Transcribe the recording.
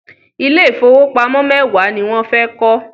Ilé ìfowópamọ́ mẹ́wàá ni wọ́n fẹ́ kọ́.